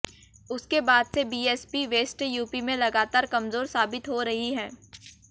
उसके बाद से बीएसपी वेस्ट यूपी में लगातार कमजोर साबित हो रही है